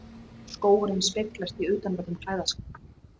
Skógurinn speglast í utanverðum klæðaskáp